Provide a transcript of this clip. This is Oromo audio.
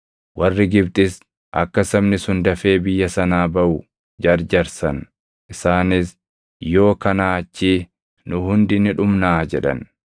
Warri Gibxis akka sabni sun dafee biyya sanaa baʼu jarjarsan; isaanis, “Yoo kanaa achii nu hundi ni dhumnaa” jedhan.